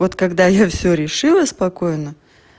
вот когда я все решила спокойно